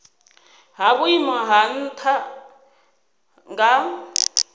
ha vhuimo ha nha nga